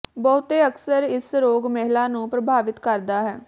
ਬਹੁਤੇ ਅਕਸਰ ਇਸ ਰੋਗ ਮਹਿਲਾ ਨੂੰ ਪ੍ਰਭਾਵਿਤ ਕਰਦਾ ਹੈ